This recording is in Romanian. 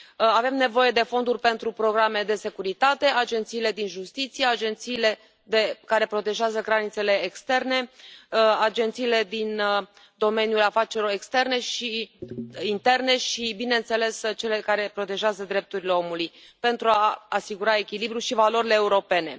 Avem nevoie de fonduri pentru programele de securitate, agențiile din justiție, agențiile care protejează granițele externe, agențiile din domeniul afacerilor externe și interne și, bineînțeles, cele care protejează drepturile omului, pentru a asigura echilibrul și valorile europene.